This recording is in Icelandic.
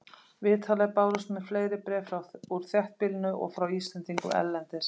Vitanlega bárust mun fleiri bréf úr þéttbýlinu og frá Íslendingum erlendis.